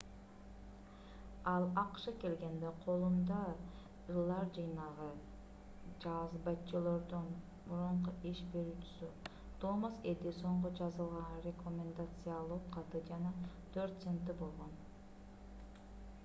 ал акшга келгенде колунда ырлар жыйнагы чарльз батчелордон мурунку иш берүүчүсү томас эдисонго жазылган рекомендациялоо каты жана 4 центи болгон